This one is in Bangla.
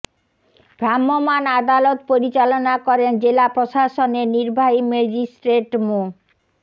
ভ্রাম্যমাণ আদালত পরিচালনা করেন জেলা প্রশাসনের নির্বাহী ম্যাজিস্ট্রেট মো